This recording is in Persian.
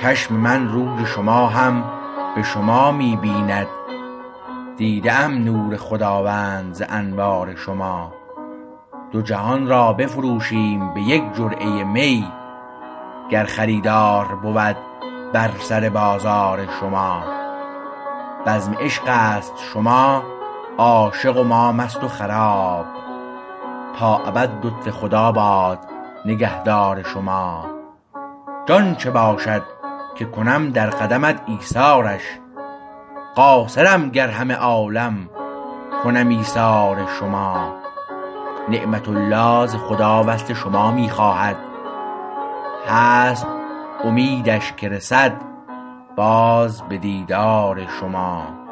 چشم من روی شما هم به شما می بیند دیده ام نور خداوند ز انوار شما دو جهان را بفروشیم به یک جرعه می گر خریدار بود بر سر بازار شما بزم عشقست شما عاشق و ما مست و خراب تا ابد لطف خدا باد نگهدار شما جان چه باشد که کنم در قدمت ایثارش قاصرم گر همه عالم کنم ایثار شما نعمت الله ز خدا وصل شما می خواهد هست امیدش که رسد باز به دیدار شما